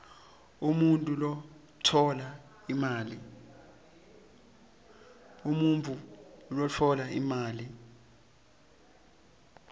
umuntfu lotfola imali